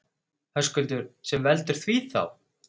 Höskuldur: Sem veldur því þá?